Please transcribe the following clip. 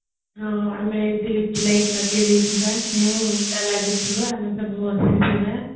ଆମେ ଏମିତେ ଲିଚୁ ଲାଇଟ ଲଗେଇଦେଇଥିବା ମଜା ଲାଗୁଥିବା ଆମେ ସବୁ ବସି ଥିବା